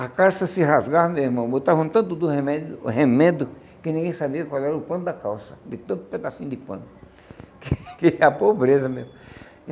A calça se rasgava meu irmão, botavam tanto do remédio remendo que ninguém sabia qual era o pano da calça, de tanto pedacinho de pano, que era pobreza mesmo.